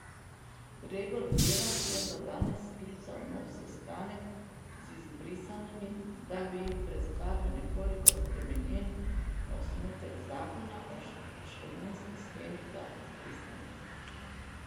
Gregor Virant je za danes sklical nov sestanek z izbrisanimi, da bi jim predstavil nekoliko spremenjen osnutek zakona o odškodninski shemi za izbrisane.